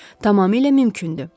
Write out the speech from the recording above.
Tamamilə mümkündür.